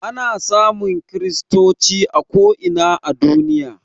Ana samun kristoci a ko ina a duniya